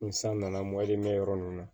Ni san nana yɔrɔ nunnu na